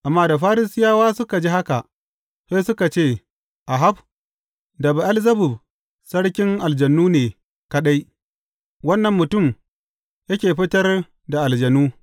Amma da Farisiyawa suka ji haka, sai suka ce, Ahab, da Be’elzebub sarkin aljanu ne kaɗai, wannan mutum yake fitar da aljanu.